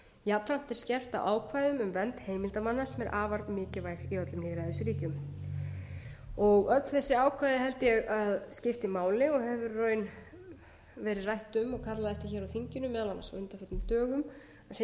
jafnframt er skerpt á ákvæði um vernd heimildarmanna sem er afar mikilvæg í öllum lýðræðisríkjum öll þessi ákvæði held ég að skipti máli og hefur í raun verið rætt um og kallað eftir á þinginu meðal annars á undanförnum dögum að sé